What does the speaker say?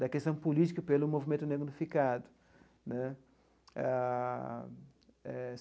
da questão política pelo movimento negro unificado né ah.